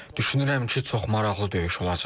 Düşünürəm ki, çox maraqlı döyüş olacaq.